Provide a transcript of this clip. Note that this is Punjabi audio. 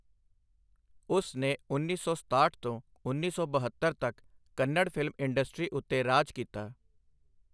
ਉਸ ਨੇ ਉੱਨੀ ਸੌ ਸਤਾਹਠ ਤੋਂ ਉੱਨੀ ਸੌ ਬਹੱਤਰ ਤੱਕ ਕੰਨੜ ਫਿਲਮ ਇੰਡਸਟਰੀ ਉੱਤੇ ਰਾਜ ਕੀਤਾ।